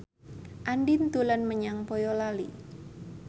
Andien dolan menyang Boyolali